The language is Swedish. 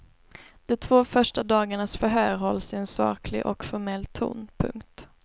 De två första dagarnas förhör hålls i en saklig och formell ton. punkt